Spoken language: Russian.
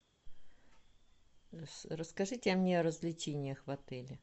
расскажите мне о развлечениях в отеле